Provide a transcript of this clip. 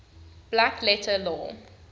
black letter law